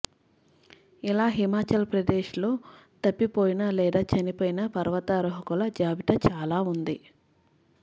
ఇలా హిమాచల్ ప్రదేశ్ లో తప్పిపోయిన లేదా చనిపోయిన పర్వతారోహకుల జాబితా చాలా ఉంది